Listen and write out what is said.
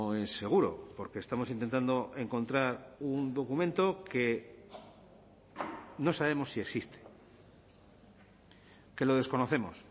es seguro porque estamos intentando encontrar un documento que no sabemos si existe que lo desconocemos